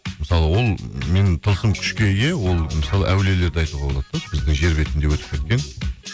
мысалы ол мен тылсым күшке ие ол мысалы әулиелерді айтуға болады да біздің жер бетінде өтіп кеткен